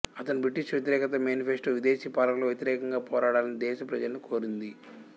అతని బ్రిటిష్ వ్యతిరేక మేనిఫెస్టో విదేశీ పాలకులకు వ్యతిరేకంగా పోరాడాలని దేశ ప్రజలను కోరింది